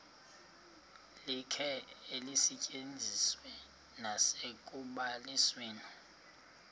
likhe lisetyenziswe nasekubalisweni